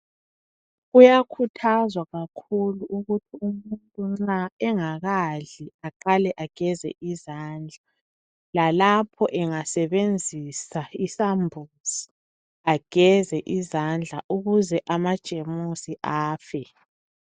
Kuyakhuthazwa kakhulu ukuthi umuntu nxa engakadli aqale ageze izandla lalapho engasebenzisa isambuzi ageze izandla ukuze amajemusi afe.